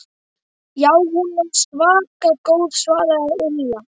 Já, hún er svaka góð svaraði Lilla.